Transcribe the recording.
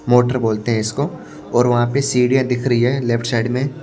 motor बोलते हैं इसको और वहां पे सीढ़ियां दिख रही है लेफ्ट साइड में--